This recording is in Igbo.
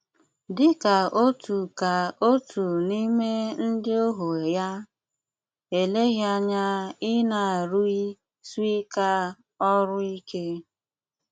Dí ká ótú ká ótú n’ímé ndí óhú yá, éléghí ányá í na-rúí swiká ọrụ íké.